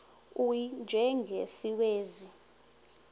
u y njengesiwezi